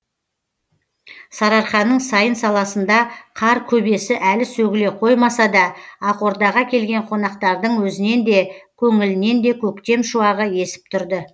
сарыарқаның сайын саласында қар көбесі әлі сөгіле қоймаса да ақордаға келген қонақтардың өзінен де көңілінен де көктем шуағы есіп тұрды